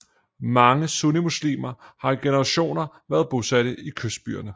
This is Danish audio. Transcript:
Mange sunnimuslimer har i generationer været bosatte i kystbyerne